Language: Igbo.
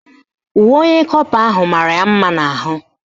Uwe onye kọpa ahụ mara ya mma n'ahụ